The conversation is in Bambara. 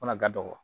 Fana ka dɔgɔ